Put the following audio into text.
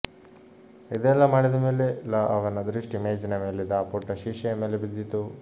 ಇದೆಲ್ಲ ಮಾಡಿದ ಮೇಲೆ ಲ ಅವನ ದೃಷ್ಟಿ ಮೇಜಿನ ಮೇಲಿದ್ದ ಆ ಪುಟ್ಟ ಶೀಷೆಯ ಮೇಲೆ ಬಿದ್ದಿತು